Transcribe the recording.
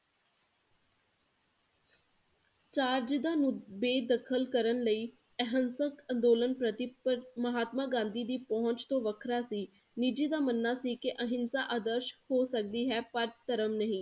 Charge ਦਾ ਬੇਦਖ਼ਲ ਕਰਨ ਲਈ ਅਹੰਸਕ ਅੰਦੋਲਨ ਪ੍ਰਤੀ ਪ~ ਮਹਾਤਮਾ ਗਾਂਧੀ ਦੀ ਪਹੁੰਚ ਤੋਂ ਵੱਖਰਾ ਸੀ ਨਿਜ਼ੀ ਦਾ ਮੰਨਣਾ ਸੀ ਕਿ ਅਹਿੰਸਾ ਆਦਰਸ਼ ਹੋ ਸਕਦੀ ਹੈ ਪਰ ਧਰਮ ਨਹੀ।